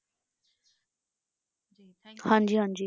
ਹਾਂਜੀ ਹਾਂਜੀ।